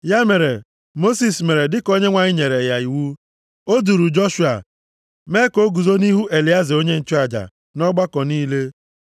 Ya mere, Mosis mere dịka Onyenwe anyị nyere ya iwu. O duuru Joshua mee ka o guzo nʼihu Elieza onye nchụaja na ọgbakọ niile.